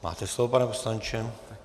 Máte slovo, pane poslanče.